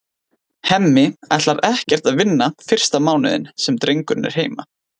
Hemmi ætlar ekkert að vinna fyrsta mánuðinn sem drengurinn er heima.